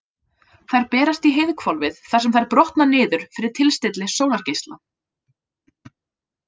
Þær berast í heiðhvolfið þar sem þær brotna niður fyrir tilstilli sólargeisla.